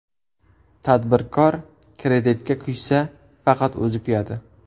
Tadbirkor kreditga kuysa, faqat o‘zi kuyadi.